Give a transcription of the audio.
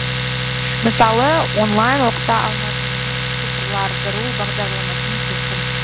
мысалы онлайн оқыта алмайтынымыз цифрлардыру бағдарламасының сыйқын